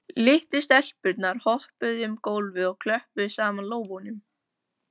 Litlu stelpurnar hoppuðu um gólfið og klöppuðu saman lófunum.